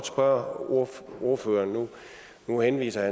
spørge ordføreren nu henviser